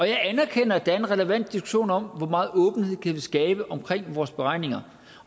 jeg anerkender at der er en relevant diskussion om hvor meget åbenhed vi kan skabe omkring vores beregninger